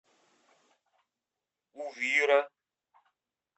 увира